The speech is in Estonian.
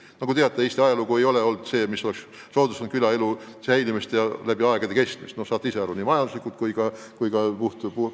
Nagu te teate, Eesti ajalugu ei ole külaelu säilimist soodustanud ei majanduslikult ega ka puhtpoliitiliselt.